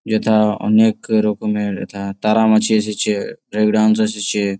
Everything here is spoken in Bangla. যেটা অনেক রকমের এথা তারা মাছি এসেছে ব্রেক ড্যান্স এসেছে-এ ।